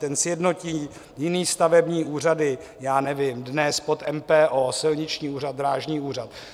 Ten sjednotí jiné stavební úřady, já nevím, dnes pod MPO, Silniční úřad, Drážní úřad.